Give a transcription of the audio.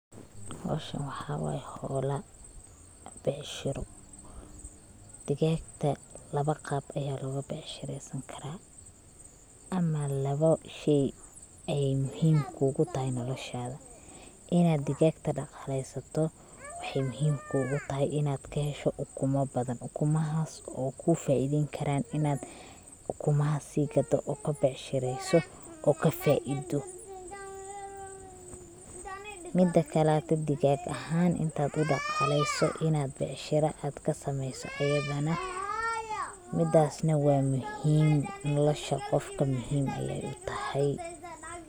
Howshan waxa waye howla becshiro, digaagta laba qab aya loga becshireysan karaa ama labo shey ayay muhim kugu tahay noloshada, inad digaagta dhaqaaleysto waxay muhim kugu tahay inad kahesho ukuma badan, ukumahaas oo kuu faa'iideyn karaan inad ukumaha sii gado od kabecshireyso oo kafaaiido ,midakale digaag ahan intad udhaqaaleyso inad becshira ad kasameeyso ayadana midass na waa muhim nolosha qofka muhim ayay utahay